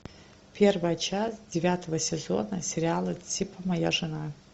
первая часть девятого сезона сериала типа моя жена